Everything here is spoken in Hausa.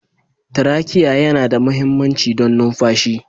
Traciye yana da mahimmanci don numfashi.